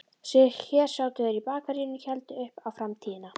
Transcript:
Hér sátu þeir í bakaríinu og héldu upp á framtíðina